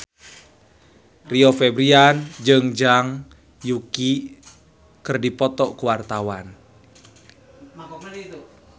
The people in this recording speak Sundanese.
Rio Febrian jeung Zhang Yuqi keur dipoto ku wartawan